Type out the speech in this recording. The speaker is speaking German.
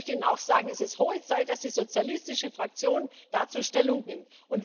Und ich möchte Ihnen auch sagen Es ist höchste Zeit, dass die sozialistische Fraktion dazu Stellung nimmt.